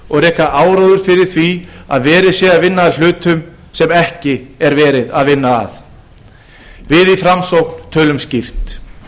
og reka áróður fyrir því að verið sé að vinna að hlutum sem bara alls ekki er verið að vinna að við í framsókn tölum skýrt